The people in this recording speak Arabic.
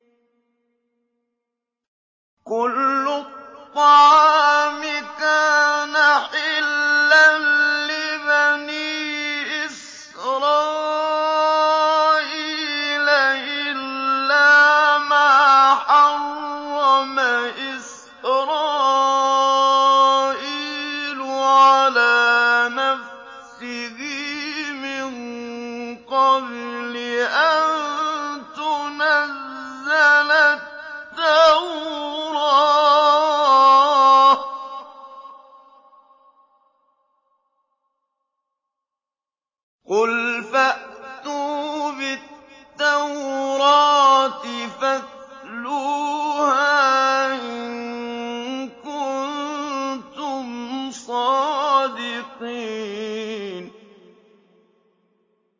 ۞ كُلُّ الطَّعَامِ كَانَ حِلًّا لِّبَنِي إِسْرَائِيلَ إِلَّا مَا حَرَّمَ إِسْرَائِيلُ عَلَىٰ نَفْسِهِ مِن قَبْلِ أَن تُنَزَّلَ التَّوْرَاةُ ۗ قُلْ فَأْتُوا بِالتَّوْرَاةِ فَاتْلُوهَا إِن كُنتُمْ صَادِقِينَ